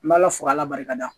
N bɛ ala fo ala barika da